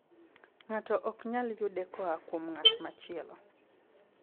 Ng'ato ok nyal yude koa kuom ng'at machielo.